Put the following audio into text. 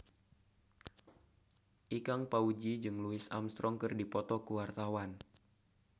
Ikang Fawzi jeung Louis Armstrong keur dipoto ku wartawan